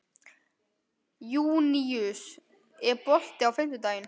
Júníus, er bolti á fimmtudaginn?